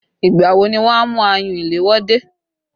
Ìgbà wo ni wọn a mú ayùn ìléwọ́ dé?